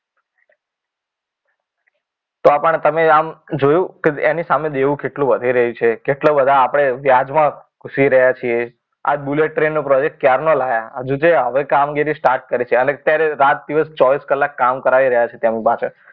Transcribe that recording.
તો પણ તમે આમ જોયું કે એની સામે દેવું કેટલું વધી રહ્યું છે કેટલો બધા આપણે વ્યાજમાં ઘૂસી રહ્યા છીએ આ બુલેટ ટ્રેન નો પ્રોજેક્ટ ક્યારના લાવ્યા? હજુ જો હવે કામગીરી સ્ટાર્ટ કરશે અને અત્યારે રાત દિવસ ચોવીસ કલાક કામગીરી કરાવી રહ્યા છે તેમની પાછળ.